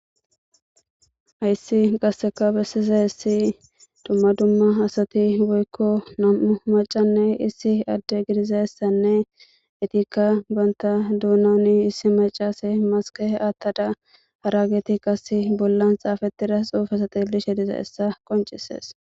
Hayssi qasseka bessiza hissi dumma dumma asati woykko nam7u macanne issi adde gidizassanne etikka banta duunani issi macase maskehe aattada harageti qas bollan xaafettida xuufasatil she diza essa qoncisees